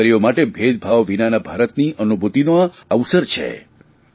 આપણી દિકરીઓ માટે ભેદભાવ વિનાના ભારતની અનુભૂતિનો આ અવસર છે